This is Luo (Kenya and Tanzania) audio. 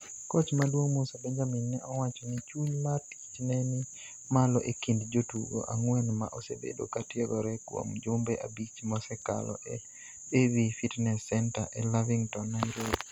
Koch maduong' Musa Benjamin ne owacho ni chuny mar tich ne ni malo e kind jotugo ang'wen ma osebedo ka tiegore kuom jumbe abich mosekalo e AV Fitness Centre e Lavington, Nairobi.